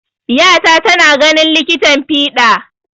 Ƴata tana ganin likitan fiɗa.